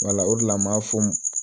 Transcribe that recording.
Wala o de la n m'a fɔ